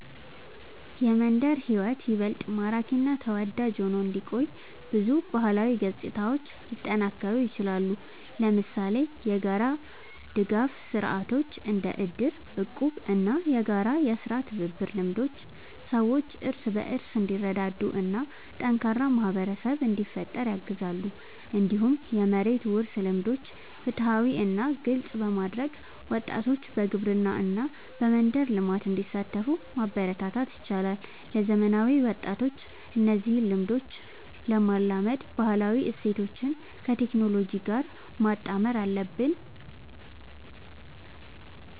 የመንደር ሕይወት ይበልጥ ማራኪ እና ተወዳጅ ሆኖ እንዲቆይ ብዙ ባህላዊ ገጽታዎች ሊጠናከሩ ይችላሉ። ለምሳሌ የጋራ ድጋፍ ስርዓቶች እንደ እድር፣ እቁብ እና የጋራ የሥራ ትብብር ልምዶች ሰዎች እርስ በርስ እንዲረዳዱ እና ጠንካራ ማህበረሰብ እንዲፈጠር ያግዛሉ። እንዲሁም የመሬት ውርስ ልምዶችን ፍትሃዊ እና ግልጽ በማድረግ ወጣቶች በግብርና እና በመንደር ልማት እንዲሳተፉ ማበረታታት ይቻላል። ለዘመናዊ ወጣቶች እነዚህን ልምዶች ለማላመድ ባህላዊ እሴቶችን ከቴክኖሎጂ ጋር ማጣመር አለብን።